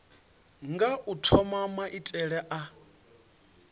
nga u thoma maitele a